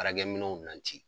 Baaraminɛnw na